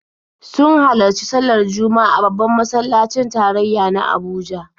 Sun halarci sallar Juma'a a babban masallacin tarayya na Abuja.